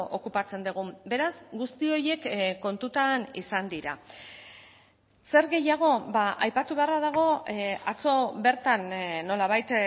okupatzen dugun beraz guzti horiek kontutan izan dira zer gehiago aipatu beharra dago atzo bertan nolabait